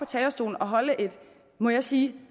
talerstolen og holde et må jeg sige